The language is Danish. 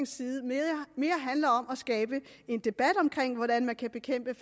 side mere handler om at skabe en debat om hvordan man kan bekæmpe